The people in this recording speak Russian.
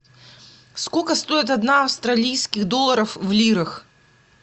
сколько стоит одна австралийских долларов в лирах